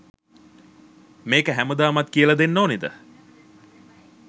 මේක හැමදාමත් කියලා දෙන්න ඕනෙද?